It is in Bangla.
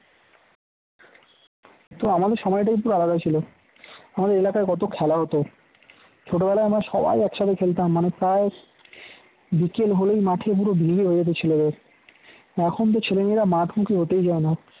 তো আমাদের সময়টাই পুরো আলাদা ছিল আমাদের এলাকায় কত খেলা হত ছোটবেলায় আমরা সবাই একসাথে খেলতাম মানে প্রায় বিকেল হলেই মাঠে পুরো ভিড় হয়ে যেতে ছেলেদের এখনতো ছেলে মেয়েরা মাঠ মুখী হতেই চায় না